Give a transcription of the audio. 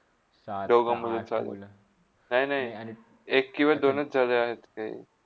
नाय - नाय एक किवा दोनच झाले आहेत ते.